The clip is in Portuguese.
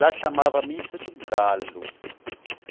Lá chamava Missa do Galo.